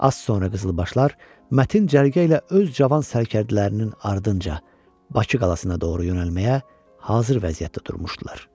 Az sonra qızılbaşlar mətin cərgə ilə öz cavan sərkərdələrinin ardınca Bakı qalasına doğru yönəlməyə hazır vəziyyətdə durmuşdular.